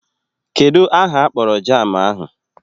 Kedụ aha akpọrọ jaamụ ahụ?